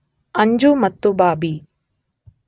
ಅಂಜು ಮತ್ತು ಬಾಬಿ